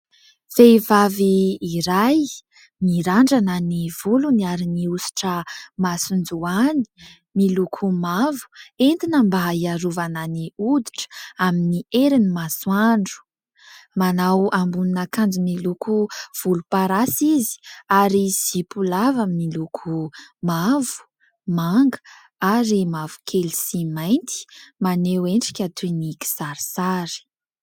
Vehivavy iray mirandrana ny volony ary nihosotra masonjoany miloko mavo entina mba hiarovana ny hoditra amin'ny herin'ny masoandro. Manao ambonin'akanjo miloko volomparasy izy ary zipo lava miloko mavo, manga ary mavokely sy mainty maneho endrika toy ny kisarisary.